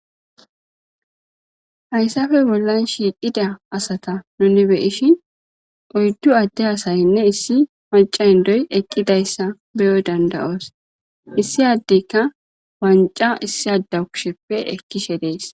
Hayssafe bollan shiiqhida asata nuni beyishin oyddu adde asaynne issi maca hindoy eqqidayssa beyoy danda7oos issi addeyka wanca issi addawu kisheppe ekkishe dees.